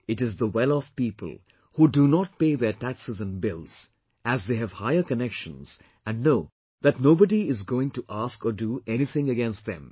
It is the welloff people, who do not pay their taxes and bills as they have higher connections and know that nobody is going to ask or do anything against them